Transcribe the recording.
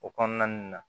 O kɔnɔna ninnu na